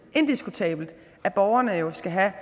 indiskutabelt at borgerne jo skal have